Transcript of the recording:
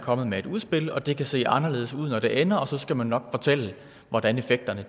kommet med et udspil og det kan se anderledes ud når det ender og så skal man nok fortælle hvordan effekterne